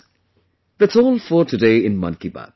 That's all for today in 'Mann Ki Baat'